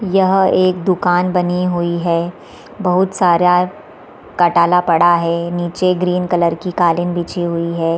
यह एक दुकान बनी हुई है बहोत सारा कटाला पड़ा है नीचे ग्रीन कलर की कालीन बिछी हुई है।